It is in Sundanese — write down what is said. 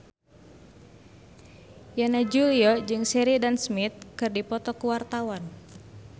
Yana Julio jeung Sheridan Smith keur dipoto ku wartawan